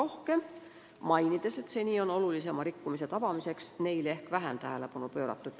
Tema arvates on seni suuremate rikkujate tabamiseks neile ehk vähem tähelepanu pööratud.